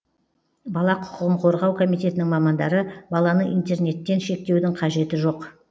бала құқығын қорғау комитетінің мамандары баланы интернеттен шектеудің қажеті жоқ